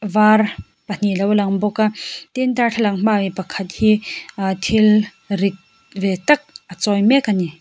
var pahnih alo lang bawka tin darthlalang hmaah mi pakhat hi a thil rit ve tak a chawi mek bawk a ni.